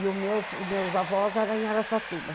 E os meus os meus avós eram em Araçatuba.